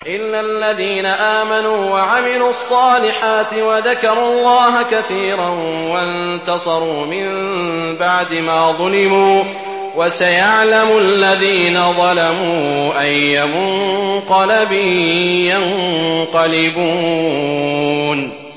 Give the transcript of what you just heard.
إِلَّا الَّذِينَ آمَنُوا وَعَمِلُوا الصَّالِحَاتِ وَذَكَرُوا اللَّهَ كَثِيرًا وَانتَصَرُوا مِن بَعْدِ مَا ظُلِمُوا ۗ وَسَيَعْلَمُ الَّذِينَ ظَلَمُوا أَيَّ مُنقَلَبٍ يَنقَلِبُونَ